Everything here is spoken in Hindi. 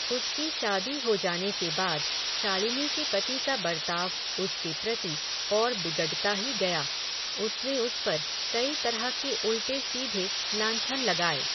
उसकी शादी हो जाने के बाद, शालिनी के पति का बर्ताव, उसके प्रति, और बिगडता ही गया, उसने उसपर, कई तरह के उल्टे सीधे लांछन लगाए